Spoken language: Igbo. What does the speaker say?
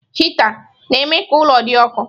Hịta na-eme ka ụlọ dị ọkụ.